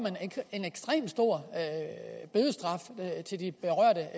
en ekstremt stor bødestraf til de berørte